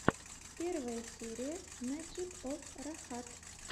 первая серия мэджик оф рахат